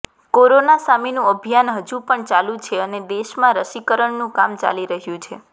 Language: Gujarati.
કોરોના સામેનું અભિયાન હજુ પણ ચાલુ છે અને દેશમાં રસીકરણનું કામ ચાલી રહ્યું છે